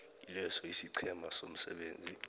kileso isiqhema somsebenzi